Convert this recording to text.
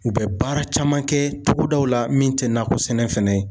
U bɛ baara caman kɛ togodaw la min tɛ nakɔ sɛnɛ fɛnɛ ye